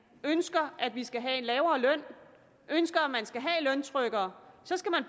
ønsker at vi skal have en lavere løn og ønsker at man skal have løntrykkere så skal man